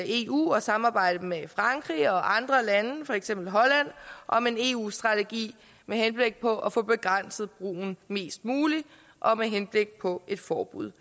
eu og samarbejde med frankrig og andre lande for eksempel holland om en eu strategi med henblik på at få begrænset brugen mest muligt og med henblik på et forbud